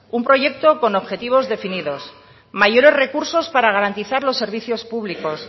un proyecto con objetivos definidos mayores recursos para garantizar los servicios públicos